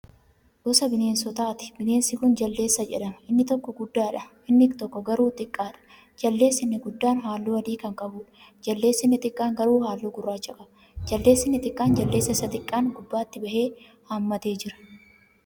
Gosa bineensaati. bineensi Kuni jaldeessa jedhama. inni tokko guddaadha. inni tokko garuu xiqqaadha. jaldeessi inni guddaan halluu adii Kan qabuudha. jaldeessi inni xiqqaan garuu halluu gurraacha qaba. jaldeessi inni xiqqaan jaldeessa Isa xiqqaan gubbaatti bahee hammatee Jira.